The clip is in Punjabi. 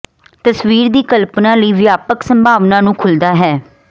ਤਸਵੀਰ ਦੀ ਕਲਪਨਾ ਲਈ ਵਿਆਪਕ ਸੰਭਾਵਨਾ ਨੂੰ ਖੁੱਲਦਾ ਹੈ